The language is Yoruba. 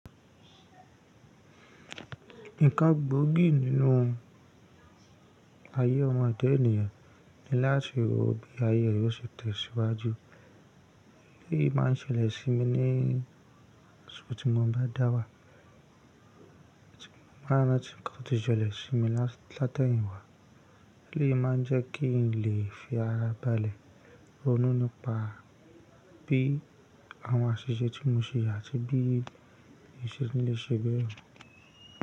Nǹkan gbóògì nínú ayé ọmọ ẹ̀da ènìyàn ni láti rò bí ayé rẹ ò ṣe tẹ̀síwájú. Èyí máa ń ṣẹlẹ̀ sí mi níṣò tí mo bá dáwà. Àti nígbà tí nǹkan ti sọlẹ̀ sí mi látẹ̀yin wa. Èyí máa ń jẹ́ kí n lè fi ara bálẹ̀ ronúni pá bí àwọn àṣìṣe tí mo ṣe à tí bí ìnṣe ni lè ṣe bẹ́ẹ̀ mò.